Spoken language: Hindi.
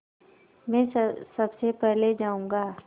मैं सबसे पहले जाऊँगा